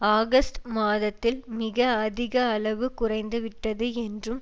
August மாதத்தில் மிக அதிக அளவு குறைந்து விட்டது என்றும்